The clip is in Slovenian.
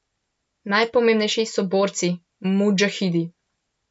Najpomembnejši so borci, mudžahidi.